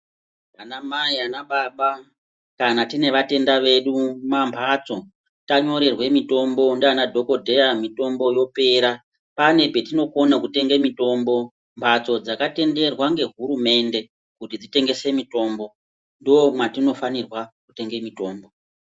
Ana mai ana baba kana tine vatenda vedu mumbatso tanyorerwa mitombo ndivana dhokodheya mitombo yopera pane patinokona kutenga mitombo mbatso dzakatenderwa nehurumende kuti dzitengese mitombo ndomatinofanirwa kutenga mitombo.